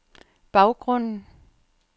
baggrunden